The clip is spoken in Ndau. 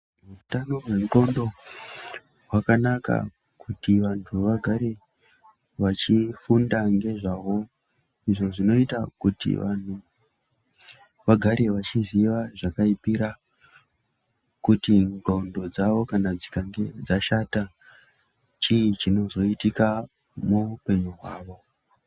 Hutano hwendxondo hwakanaka Kuti vantu vagare vachifunda ngezvaho izvo zvinoita kuti vantu vagare vachiziva zvakaipira kuti ndxondo dzavo dzikange dzashata chii chinozoitika muupenyu hwavo.